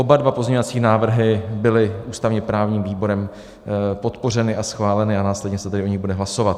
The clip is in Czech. Oba dva pozměňovací návrhy byly ústavně-právním výborem podpořeny a schváleny, a následně se tady o nich bude hlasovat.